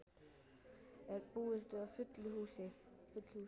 Þórhildur, er búist við fullu húsi?